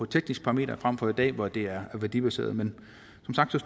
teknisk parameter frem for som i dag hvor det er værdibaseret men